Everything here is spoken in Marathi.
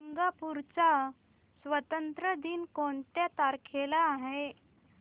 सिंगापूर चा स्वातंत्र्य दिन कोणत्या तारखेला आहे